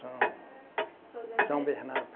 São São Bernardo.